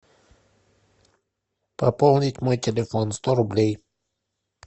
пополнить мой телефон сто рублей